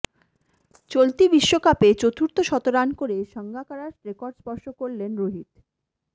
চলতি বিশ্বকাপে চতুর্থ শতরান করে সঙ্গাকারার রেকর্ড স্পর্শ করলেন রোহিত